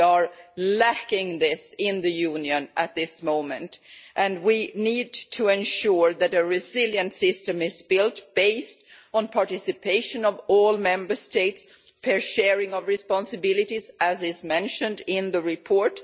We are lacking this in the Union at this moment and we need to ensure that a resilient system is built, based on the participation of all Member States and the fair sharing of responsibilities, as is mentioned in the report.